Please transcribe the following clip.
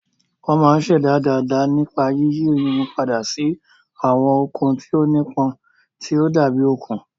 Wọ́n máa ń ṣẹ̀dá dàda nípa yíyí irun padà sí àwọn okùn tí ó nípọn, tí ó dàbí okùn.